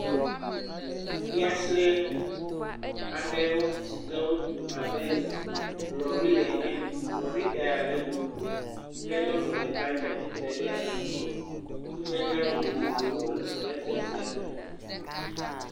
Fiase aɖe si ke wotu abe lɔ̃ri ene, lɔ̃ritaya le eɖome, ke nyɔnu ɖeka tsatsitre ɖe eŋgɔ, nudzadzra vovovowo le fiase sia me.